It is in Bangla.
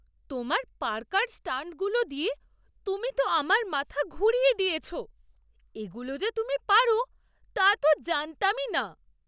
তোমার পার্কার স্টান্টগুলো দিয়ে তুমি তো আমার মাথা ঘুরিয়ে দিয়েছো, এগুলো যে তুমি পারো তা তো জানতামই না!